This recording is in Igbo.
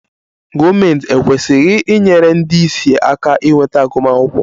Gọọmentị ekwesịghị inyere ndị ìsì aka inweta agụmakwụkwọ?